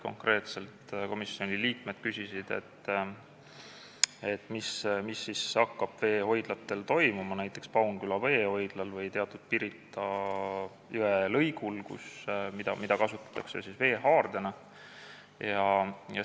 Konkreetselt küsisid komisjoni liikmed, mis hakkab toimuma veehoidlatel, näiteks Paunküla veehoidlal või teatud Pirita jõe lõigul, mida kasutatakse veehaardena.